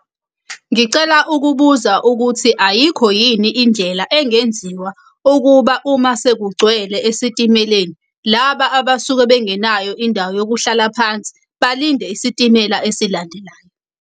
Ngicela ukubuza ukuthi ayikho yini indlela engenziwa ukuba uma sekugcwele esitimeleni, laba abasuke bengenayo indawo yokuhlala phansi balinde isitimela esilandelayo.